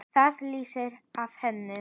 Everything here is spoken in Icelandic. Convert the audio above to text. Það lýsir af henni.